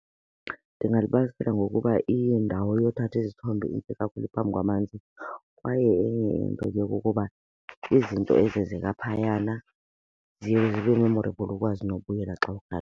Ndingalibalisela ngokuba indawo yothatha izithombe intle kakhulu phambi kwamanzi kwaye enye into ke kukuba izinto ezenzeka phayana ziye zibe memorable ukwazi nobuyela xa uthanda.